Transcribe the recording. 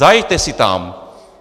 Zajeďte si tam!